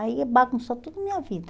Aí bagunçou toda a minha vida.